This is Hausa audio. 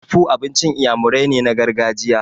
Akpu abincin Iyamurai ne na gargajiya.